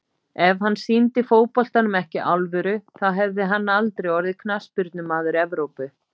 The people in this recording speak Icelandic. Ef hann sýndi fótboltanum ekki alvöru þá hefði hann aldrei orðið Knattspyrnumaður Evrópu.